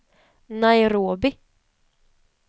Nairobi